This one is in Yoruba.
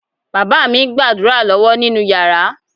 Bàbá mi ń gbàdúrà lọ́wọ́ nínú yàrá.